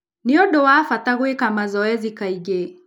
Nĩ ũndũ wa bata gwĩka mazoezi kaingĩ